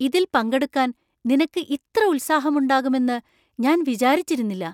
ഇതില്‍ പങ്കെടുക്കാൻ നിനക്ക് ഇത്ര ഉത്സാഹം ഉണ്ടാകുമെന്നു ഞാൻ വിചാരിച്ചിരുന്നില്ല.